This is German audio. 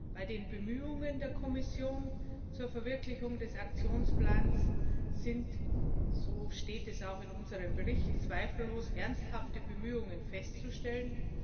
Bei den Bemühungen der Kommission zur Verwirklichung des Aktionsplans sind so steht es auch in unserem Bericht zweifellos ernsthafte Bemühungen festzustellen.